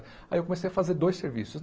Aí eu comecei a fazer dois serviços.